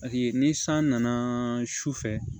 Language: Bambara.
Paseke ni san nana su fɛ